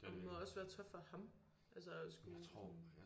Og må også være tough for ham altså at skulle sådan